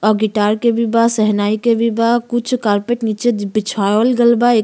और गिटार के भी बा शहनाई के भी बा। कुछ कारपेट नीचे बिछावल गइल बा। एक --